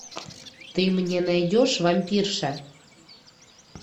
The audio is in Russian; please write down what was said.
ты мне найдешь вампирша